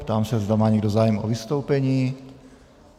Ptám se, zda má někdo zájem o vystoupení.